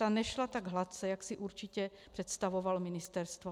Ta nešla tak hladce, jak si určitě představovalo ministerstvo.